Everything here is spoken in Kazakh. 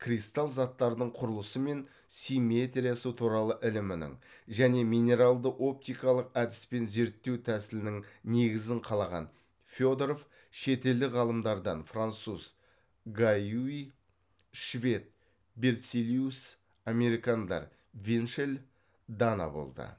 кристалл заттардың құрылысы мен симметриясы туралы ілімінің және минералды оптикалық әдіспен зерттеу тәсілінің негізін қалаған федоров шетелдік ғалымдардан француз гаюи швед берцеллиус американдар винчелл дана болды